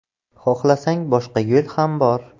Xohlasang, boshqa yo‘l ham bor.